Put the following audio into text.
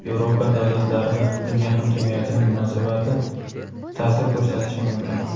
Yevropa davlatlari va dunyo hamjamiyatining munosabati ta’sir ko‘rsatishi mumkin.